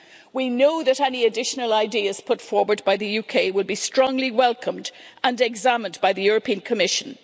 We know that any additional ideas put forward by the UK will be strongly welcomed and examined by the European Commission.